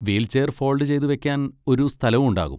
Wheelchair fold ചെയ്ത് വെക്കാൻ ഒരു സ്ഥലവും ഉണ്ടാകും.